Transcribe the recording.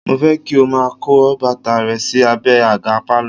Mo fẹ́ kí o máa kó bàtà rẹ sí abẹ àga pálọ̀